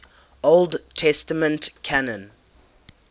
old testament canon